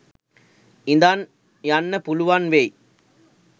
ඉඳන් යන්න පුළුවන් වෙයි.